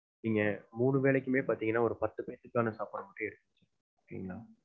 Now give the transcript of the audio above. இங்க மூணு வேலைக்குமே பாத்தீங்கன்னா ஒரு பத்து பேர்த்துக்கான சாப்பாடு மட்டும் எடுத்து வெச்சிருங்க.